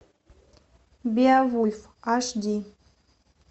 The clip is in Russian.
беовульф аш ди